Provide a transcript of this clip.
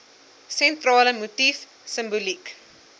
sentrale motief simboliek